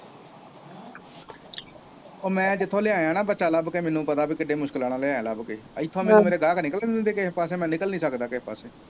ਉਹ ਮੈਂ ਜਿੱਥੋਂ ਲਿਆਇਆਂ ਨਾ ਬੱਚਾ ਲੱਭ ਕੇ ਮੈਨੂੰ ਪਤਾ ਬਈ ਕਿੰਨੇ ਮੁਸਕਿਲਾਂ ਨਾਲ ਲਿਆਇਆਂ ਲੱਭ ਕ, ਇੱਥੋਂ ਦੇ ਮੇਰੇ ਗਾਹਕ ਨਿਕਲਦੇ ਨਹੀਂ ਤੁਸੀਂ ਦੇਖੇ ਕਿਸੇ ਪਾਸੇ ਮੈਂ ਨਿਕਲ ਨਹੀਂ ਸਕਦਾ ਕਿਸੇ ਪਾਸੇ